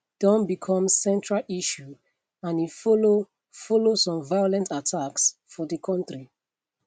don become central issue and e follow follow some violent attacks for di kontri